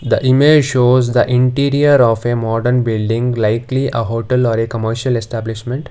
the image shows the interior of a modern building likely a hotel or a commercial establishment.